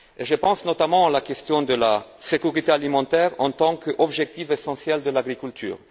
Je pense notamment à la question de la sécurité alimentaire, qui est un objectif essentiel de l'agriculture.